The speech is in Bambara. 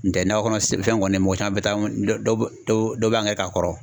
N tɛ nakɔ kɔnɔ s fɛn kɔni mɔgɔ caman be taa dɔ dɔ dɔw b'a angɛrɛ k'a kɔrɔ